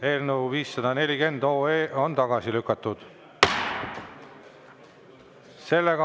Eelnõu 540 on tagasi lükatud.